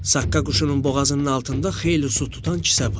Saqqa quşunun boğazının altında xeyli su tutan kisə var.